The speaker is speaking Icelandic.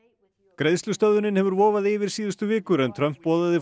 greiðslustöðvun hefur vofað yfir síðustu vikur en Trump boðaði